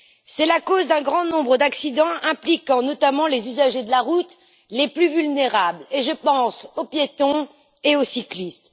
C'est la cause d'un grand nombre d'accidents impliquant notamment les usagers de la route les plus vulnérables, et je pense aux piétons et aux cyclistes.